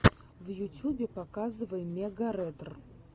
в ютюбе показывай мегаретр